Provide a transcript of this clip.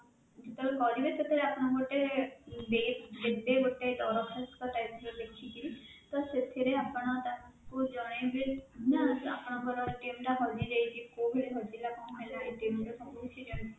ଯେତେବେଳେ କରିବେ ସେତେବେଳେ ଆପଣଙ୍କୁ ଗୋଟେ date ଦେବେ ଗୋଟେ ଦରଖାସ୍ତ type ର ଲେଖିକିରି ତ ସେଥିରେ ଆପଣ ତାକୁ ଜଣେଇବେ ନା ଆପଣଙ୍କର ଟା ହଜିଯାଇଛି କୋଉ ଭଳି ହଜିଲା କଣ ହେଲା ର ସବୁ କିଛି